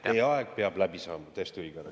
Teie aeg peab läbi saama, täiesti õige.